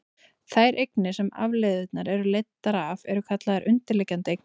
þær eignir sem afleiðurnar eru leiddar af eru kallaðar undirliggjandi eignir